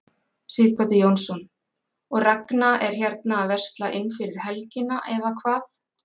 Sighvatur Jónsson: Og Ragna er hérna að versla inn fyrir helgina eða hvað?